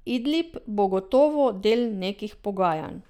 Idlib bo gotovo del nekih pogajanj.